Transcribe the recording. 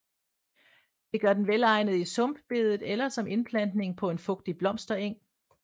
Det gør den velegnet i sumpbedet eller som indplantning på en fugtig blomstereng